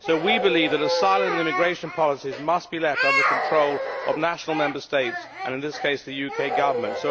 We believe that asylum and immigration policies must be left under the control of national Member States and, in this case, the UK Government.